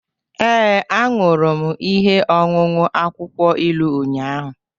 Ee, ahụrụ m ihe ọṅụṅụ akwụkwọ ilu ụnyahụ